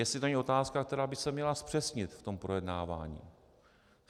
Jestli to není otázka, která by se měla zpřesnit v tom projednávání.